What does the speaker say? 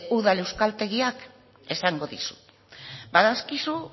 udal euskaltegiak esango dizut badakizu